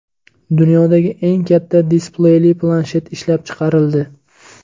Dunyodagi eng katta displeyli planshet ishlab chiqarildi.